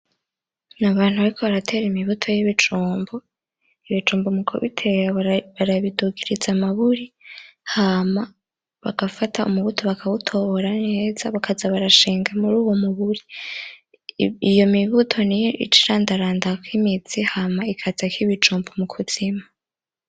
N'abantu bariko baratera imibuto y'ibijumbu, ibijumbu mu kubitera barabidugiriza amaburi hama bagafata umubuto bakawutobora neza hama bakaza barashinga muruwo muburi, iyo mibuto niyo icirandarandako kw'imizi hama ikazako ibijumbu mu kuzimu.